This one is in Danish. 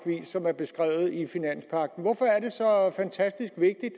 som er beskrevet i finanspagten hvorfor er det så fantastisk vigtigt